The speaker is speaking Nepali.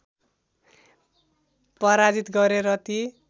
पराजित गरे र ती